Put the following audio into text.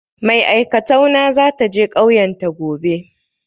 Mai aikatau na za ta je ƙauyan ta gobe.